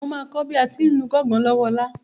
Mà á kọ bí à à ti ń lu gángan lọ́wọ Ọlá.